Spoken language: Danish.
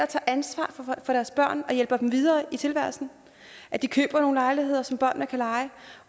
tager ansvar for deres børn og hjælper dem videre i tilværelsen at de køber nogle lejligheder som børnene kan leje